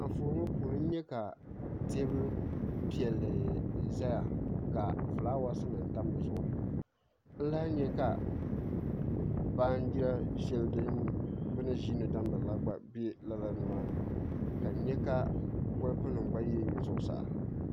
Anfooni ŋɔ puuni n nyɛ ka teebuli piɛlli n ʒɛya ka fulaawaasi nim tam dizuɣu n lahi nyɛ ka baanjiri shɛli bi ni ʒiindi damgiri la gba bɛ lala nimaani ka n nyɛ ka bolfu nim gba yili yili zuɣusaa